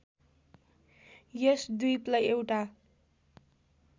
यस द्वीपलाई एउटा